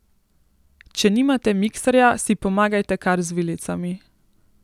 Če nimate mikserja, si pomagajte kar z vilicami.